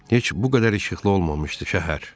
Heç bu qədər işıqlı olmamışdı şəhər.